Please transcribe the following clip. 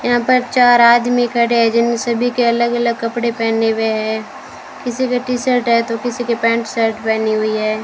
यहां पर चार आदमी खड़े हैं जिन सभी के अलग अलग कपड़े पहने हुए है किसी के टी शर्ट है तो किसी के पैंट शर्ट पहनी हुई है।